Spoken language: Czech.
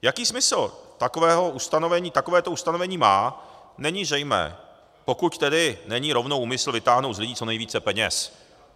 Jaký smysl takovéto ustanovení má, není zřejmé, pokud tedy není rovnou úmysl vytáhnout z lidí co nejvíce peněz.